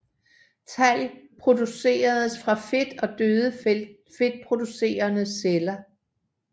Talg produceres fra fedt og døde fedtproducerende celler